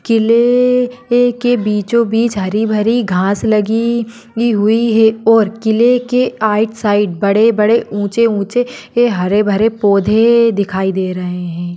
किल्ले के बिचो बीच हरी भरी घास लगी ही हुई है और किले के आएट साइड बड़े-बड़े उचे-उचे हे हरे भरे पौधे दिखाई दे रहे है।